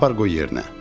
Apar qoy yerinə.